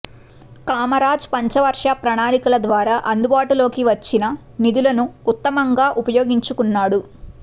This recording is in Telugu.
కామరాజ్ పంచవర్ష ప్రణాళికల ద్వారా అందుబాటులోకి వచ్చిన నిధులను ఉత్తమంగా ఉపయోగించుకున్నాడు